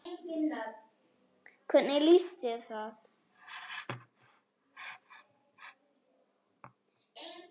Hvernig líst þér á það?